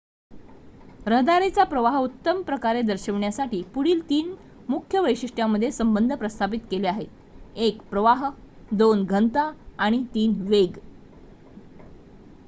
रहदारीचा प्रवाह उत्तमप्रकारे दर्शवण्यासाठी पुढील ३ मुख्य वैशिष्ट्यांमध्ये संबंध प्रस्थापित केले आहेत: १ प्रवाह २ घनता आणि ३ वेग